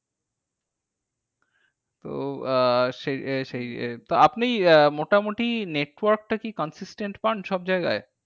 তো আহ সেই তা আপনি আহ মোটামুটি network টা কি consistent পান সবজায়গায়?